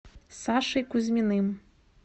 сашей кузьминым